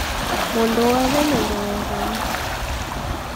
mũndũ wothe nĩ mwega